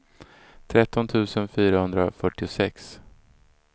tretton tusen fyrahundrafyrtiosex